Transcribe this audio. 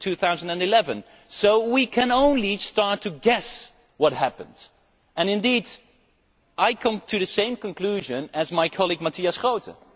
2011. So we can only start to guess what happened, and indeed I come to the same conclusion as my colleague Matthias Groote.